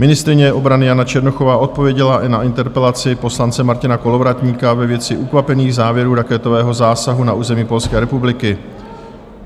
Ministryně obrany Jana Černochová odpověděla i na interpelaci poslance Martina Kolovratníka ve věci Ukvapených závěrů raketového zásahu na území Polské republiky.